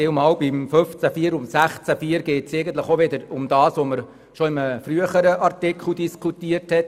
16 Absatz 4 geht es eigentlich auch wieder um das, worüber wir bereits in einem früheren Artikel diskutiert haben.